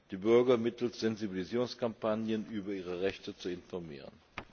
die Bürger mittels Sensibilisierungskampagnen über ihre Rechte zu informieren.